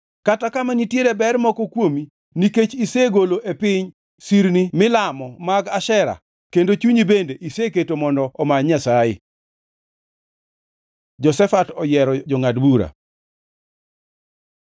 Kata kama nitiere ber moko kuomi nikech isegolo e piny sirni milamo mag Ashera kendo chunyi bende iseketo mondo omany Nyasaye.” Jehoshafat oyiero jongʼad bura